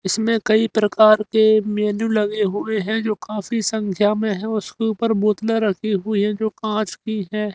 इसमें कई प्रकार के मेनू लगे हुए हैं जो काफी संख्या में है उसके ऊपर बोतले रखी हुई है जो कांच की है।